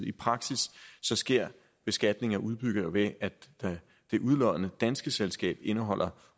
i praksis sker beskatning af udbytter ved at det udloddende danske selskab indeholder